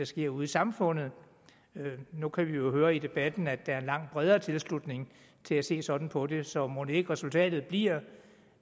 sker ude i samfundet nu kan vi jo høre i debatten at der er en langt bredere tilslutning til at se sådan på det så mon ikke resultatet bliver